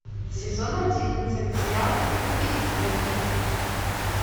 сезон одиннадцать сериал скуби и скрэппи